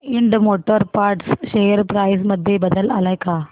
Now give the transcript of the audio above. Ind Motor Parts share price मध्ये बदल आलाय का